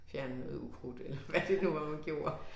Fjerne noget ukrudt eller hvad det nu var man gjorde